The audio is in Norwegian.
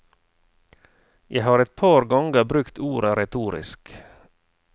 Jeg har et par ganger brukt ordet retorisk.